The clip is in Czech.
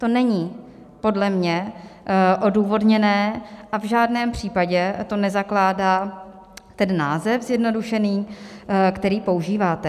To není podle mě odůvodněné a v žádném případě to nezakládá ten název zjednodušený, který používáte.